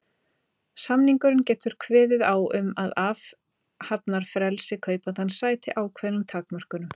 Samningurinn getur kveðið á um að athafnafrelsi kaupandans sæti ákveðnum takmörkunum.